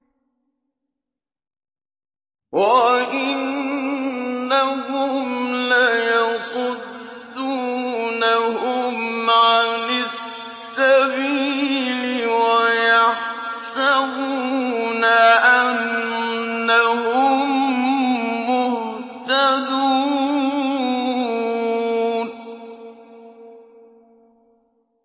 وَإِنَّهُمْ لَيَصُدُّونَهُمْ عَنِ السَّبِيلِ وَيَحْسَبُونَ أَنَّهُم مُّهْتَدُونَ